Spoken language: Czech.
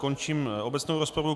Končím obecnou rozpravu.